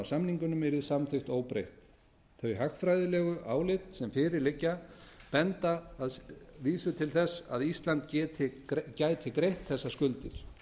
samningunum yrði samþykkt óbreytt þau hagfræðilegu álit sem fyrir liggja benda að vísu til þess að ísland gæti greitt þessar skuldir